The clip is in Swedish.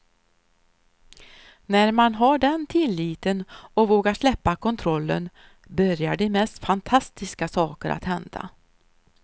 När man har den tilliten och vågar släppa kontrollen börjar de mest fantastiska saker att hända.